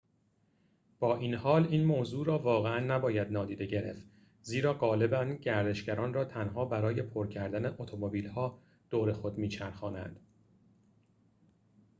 با این‌حال این موضوع را واقعاً نباید نادیده گرفت زیرا غالباً گردشگران را تنها برای پر کردن اتومبیل‌ها دور خود می‌چرخانند